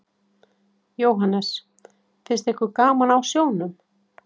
Jóhannes: Finnst ykkur gaman á sjónum?